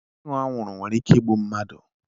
Ịṅụ anwuru nwere ike igbu mmadụ.